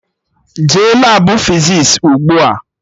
Jee Labụ fizis ugbua!